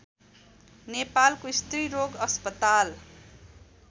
नेपालको स्त्रीरोग अस्पताल